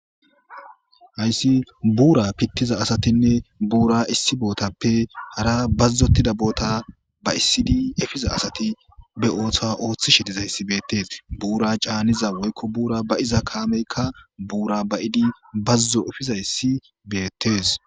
hayssi buura pittiza asatinne buura issi bootappe hara bazzotida boota ba'issidi efiza asati be ooththa ooththishe dizayssi beettees ,buura caaniza woykko buura ba'iza kaameykka buura ba'idi bazzo efizayssi beettes